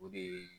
O de ye